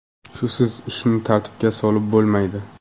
Shusiz ishni tartibga solib bo‘lmaydi.